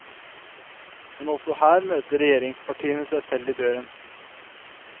Men også her møter regjeringspartiene seg selv i døren.